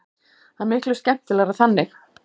Það er miklu skemmtilegra þannig.